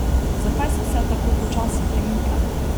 Zakaj se vse tako počasi premika?